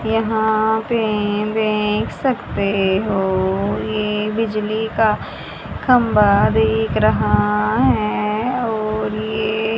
यहां पे देख सकते हो यह बिजली का खंबा दिख रहा है और ये --